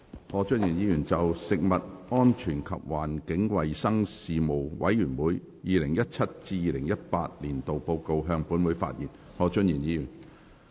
何俊賢議員就"食物安全及環境衞生事務委員會 2017-2018 年度報告"向本會發言。